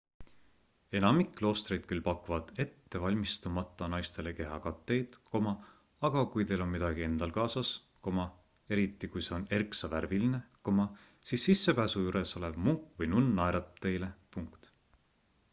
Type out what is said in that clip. enamik kloostreid küll pakuvad ettevalmistumata naistele kehakatteid aga kui teil on midagi endal kaasas eriti kui see on erksavärviline siis sissepääsu juures olev munk või nunn naeratab teile